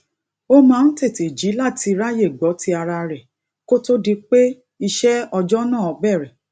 ó máa ń tètè jí láti ráyè gbó ti ara rè kó tó di pé iṣé ọjó náà bèrè